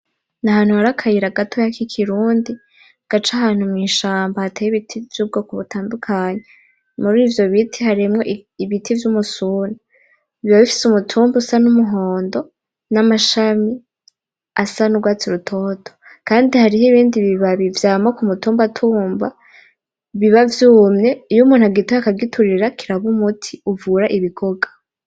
N'ahantu hari akayira gatoya k'ikirundi, gaca ahantu mw'ishamba hateye ibiti vy'ubwoko butandukanye. Murivyo biti harimwo ibiti vy'umusuna. Biba bifise umutumba usa n'umuhondo, n'amashami asa n'urwatsi rutoto. Kandi hariho ibindi bibabi vyama kumutumbatumba biba vyumye. Iyo umuntu agitoye akagiturira kiraba umuti uvura ibigoga.